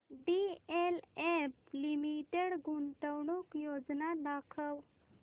DLF limited गुंतवणूक योजना दाखव